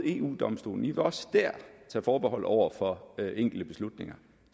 eu domstolen i vil også dér tage forbehold over for enkelte beslutninger